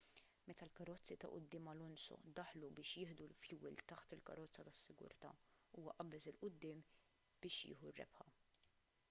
meta l-karozzi ta' quddiem alonso daħlu biex jieħdu l-fjuwil taħt il-karozza tas-sigurtà huwa qabeż il quddiem biex jieħu r-rebħa